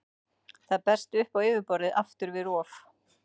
Það berst upp á yfirborðið aftur við rof.